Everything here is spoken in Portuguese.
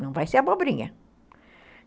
Não vai ser abobrinha.